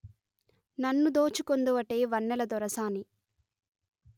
నన్ను దోచుకొందువటే వన్నెల దొరసాని